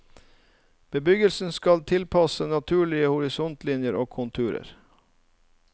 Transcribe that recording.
Bebyggelsen skal tilpasses naturlige horisontlinjer og konturer.